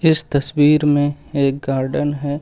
इस तस्वीर में एक गार्डन है।